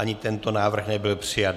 Ani tento návrh nebyl přijat.